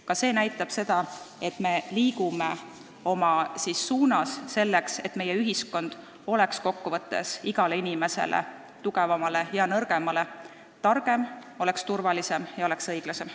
Ka see näitab, et me liigume selles suunas, et meie ühiskond oleks iga inimese, nii tugevama kui ka nõrgema arvates targem, turvalisem ja ka õiglasem.